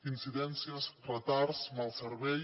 incidències retards mal servei